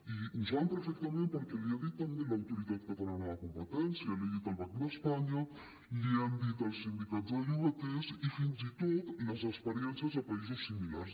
i ho saben perfectament perquè els hi ha dit també l’autoritat catalana de competència els hi ha dit el banc d’espanya els hi han dit els sindicats de llogaters i fins i tot les experiències a països similars